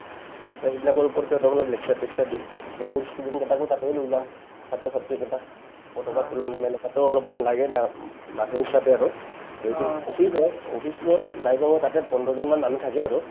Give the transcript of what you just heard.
to সেইবিলাকৰ ওপৰতে lecture টেকচাৰ দিম মোৰ student কেটাকো তাতে লৈ যাম ছাত্ৰ-ছাত্ৰীকেটাক পতকা তুলন মানে তাতেও অলপমান লাগে না মানুহ হিচাপে আৰু to এইটো office হয় office ত নাই কমেও পন্ধৰজনমান মানুহ থাকে আৰু